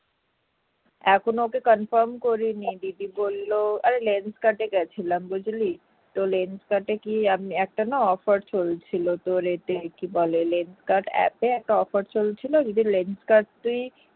এখনো তো confirm করিনি দিদি বলল আরে lenskart গেছিলাম বুঝলি তো lenskart না একটা offer তো rate আর কি। তো lenskart app একটা offer চলছিল যদি lenskart তুই